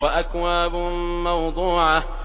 وَأَكْوَابٌ مَّوْضُوعَةٌ